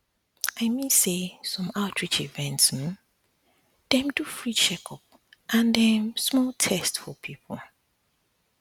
i mean say some outreach events um dey um do free checkup and em small small test for people